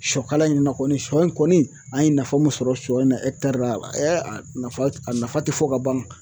Sɔkala in na kɔni sɔ in kɔni an ye nafa mun sɔrɔ sɔ in na ra a nafa a nafa ti fɔ ka ban.